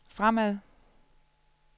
fremad